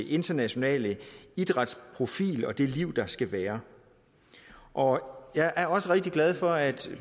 internationale idrætsprofil og det liv der skal være og jeg er også rigtig glad for at